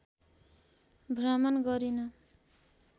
भ्रमण गरिन्।